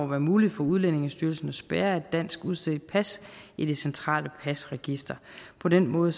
være muligt for udlændingestyrelsen at spærre et dansk udstedt pas i det centrale pasregister på den måde